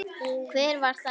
Hver var það?